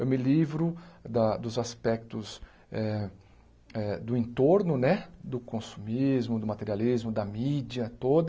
Eu me livro da dos aspectos eh eh do entorno né, do consumismo, do materialismo, da mídia toda.